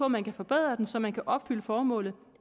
man kan forbedre den så man kan opfylde formålet